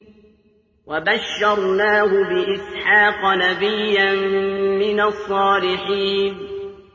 وَبَشَّرْنَاهُ بِإِسْحَاقَ نَبِيًّا مِّنَ الصَّالِحِينَ